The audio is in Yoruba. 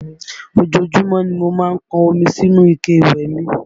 Ojoojúmọ́ ni mo má ń pọn omi sínú ike ìwẹ̀ mi